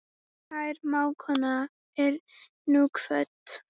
Kær mágkona er nú kvödd.